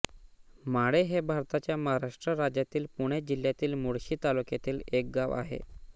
माळे हे भारताच्या महाराष्ट्र राज्यातील पुणे जिल्ह्यातील मुळशी तालुक्यातील एक गाव आहे